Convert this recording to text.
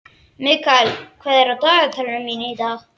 Mikael, hvað er á dagatalinu í dag?